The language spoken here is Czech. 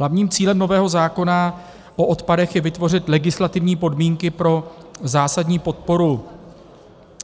Hlavním cílem nového zákona o odpadech je vytvořit legislativní podmínky pro zásadní podporu